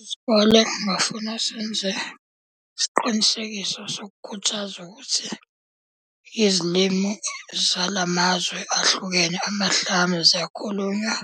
Isikole kungafuna senze isiqinisekiso sokukhuthaza ukuthi izilimu zala mazwe ahlukene amahlamu ziyakhulunywa.